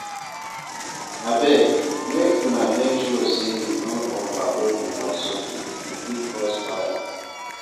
Abeg make una make sure sey una no overload una socket, e fit cause fire.